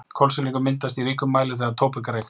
Kolsýrlingur myndast í ríkum mæli þegar tóbak er reykt.